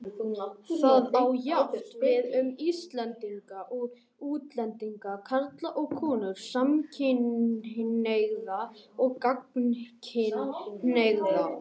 Það á jafnt við um Íslendinga og útlendinga, karla og konur, samkynhneigða og gagnkynhneigða.